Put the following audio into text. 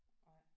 Nej